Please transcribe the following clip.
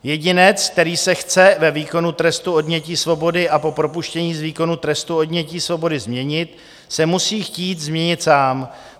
Jedinec, který se chce ve výkonu trestu odnětí svobody a po propuštění z výkonu trestu odnětí svobody změnit, se musí chtít změnit sám.